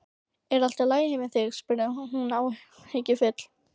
Er allt í lagi með þig? spurði hún áhyggjufull.